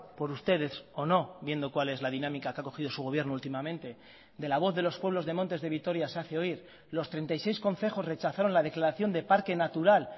por ustedes o no viendo cuál es la dinámica que ha cogido su gobierno últimamente de la voz de los pueblos de montes de vitoria se hace oír los treinta y seis concejos rechazaron la declaración de parque natural